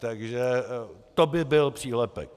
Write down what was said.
Takže to by byl přílepek.